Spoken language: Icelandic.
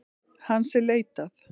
Hans er leitað.